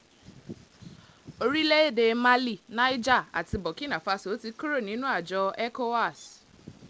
orílẹ̀‐èdè mali niger àti burkina-fásio ti kúrò nínú àjọ ecowá